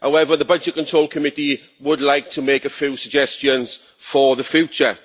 However the Budgetary Control Committee would like to make a few suggestions for the future.